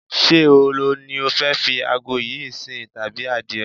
Ṣé ehoro ni o fẹ́ fi àgò yìí sìn tàbí adìe?